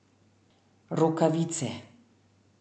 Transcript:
Rokavice.